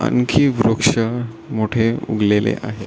आणखी वृक्ष मोठे उगलेले आहे.